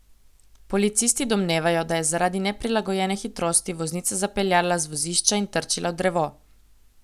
Policisti domnevajo, da je zaradi neprilagojene hitrosti voznica zapeljala z vozišča in trčila v drevo.